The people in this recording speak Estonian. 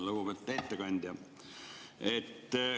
Lugupeetud ettekandja!